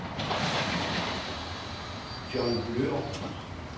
Jon Nøhr